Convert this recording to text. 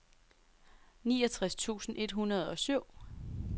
niogtres tusind et hundrede og syv